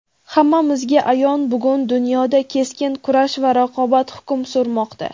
Hammamizga ayon bugun dunyoda keskin kurash va raqobat hukm surmoqda.